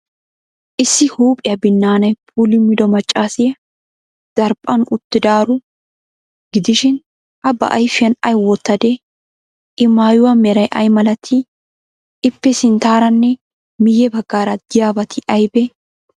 Issi huuphiyaa binnaanay puulummido maccaasiya daraphphan uttidaaro gidishin, A ba ayfiyan ay wottadee? I maayuwa meray ay malatii? Ippe sinttaaranne miyye baggaara de'iyabati aybee?